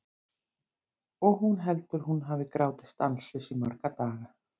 Og hún heldur að hún hafi grátið stanslaust í marga daga.